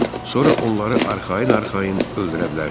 Sonra onları arxayın-arxayın öldürə bilərsiniz.